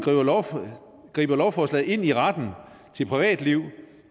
griber lovforslaget ind i retten til privatliv